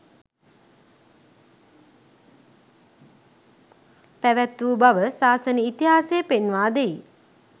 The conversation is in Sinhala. පැවත්වූ බව සාසන ඉතිහාසය පෙන්වා දෙයි